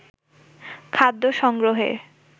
খাদ্য সংগ্রহের